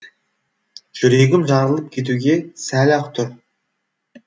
жүрегім жарылып кетуге сәл ақ тұр